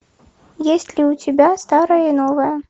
есть ли у тебя старое и новое